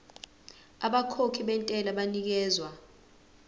abakhokhi bentela banikezwa